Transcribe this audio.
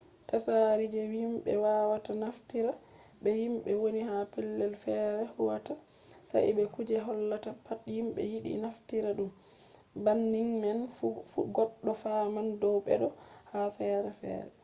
tsari je himɓe wawata naftira be himɓe woni ha pellel fere huwata sai be kuje hollata pat himɓe yiɗi naftira ɗum. banning man fu goɗɗo faman dow beɗo ha fere fere